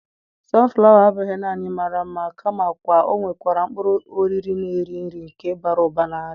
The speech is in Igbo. sunflower abụghị nanị mara mma kamakwa ọ nwekwara mkpụrụ oriri na-eri nri nke bara ụba na nri.